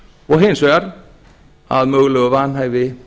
og hins vegar að mögulegu vanhæfi